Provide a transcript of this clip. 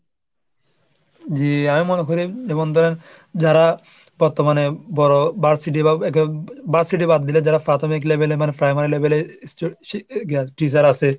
যে আমি মনে করি যেমন ধরেন, যারা বর্তমানে বড় varsity এরকম বা varsity বাদ দিলে যারা প্রাথমিক level এর মানে primary level এর teacher আসে,